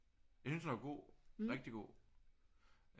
Jeg synes den var god rigtig god